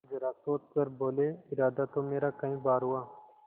जरा सोच कर बोलेइरादा तो मेरा कई बार हुआ